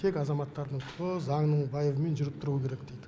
тек азаматтардың құқығы заңның байыбымен жүріп тұруы керек дейді